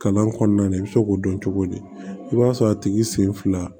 Kalan kɔnɔna na i bɛ se k'o dɔn cogo di i b'a sɔrɔ a tigi sen fila